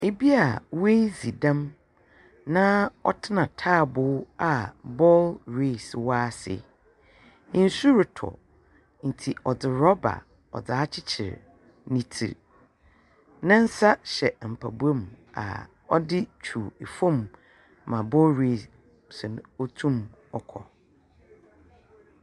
Obi a woedzi dɛm na ɔtsena ntaaboo a bongreesi wɔ ase. Nsu retɔ nti wɔdze rɔba ɔdze akyekyer ne tsir. Ne nsa hyɛ mpaboa mu a ɔdze twi fam ma bogreesi no otum ɔkɔ.